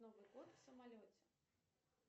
новый год в самолете